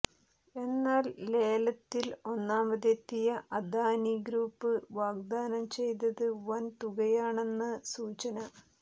എന്നാൽ ലേലത്തിൽ ഒന്നാമതെത്തിയ അദാനി ഗ്രൂപ്പ് വാഗ്ദാനം ചെയ്തത് വൻ തുകയാണെന്നാണ് സൂചന